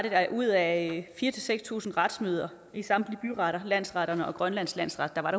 at ud af fire seks tusind retsmøder i samtlige byretter landsretterne og grønlands landsret var